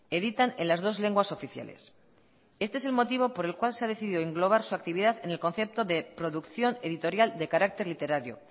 editan en las dos lenguas oficiales este es el motivo por el cual se ha decidido englobar su actividad en el concepto de producción editorial de carácter literario